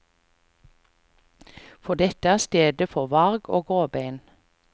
For dette er stedet for varg og gråbein.